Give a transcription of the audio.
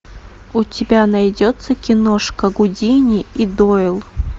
у тебя найдется киношка гудини и дойл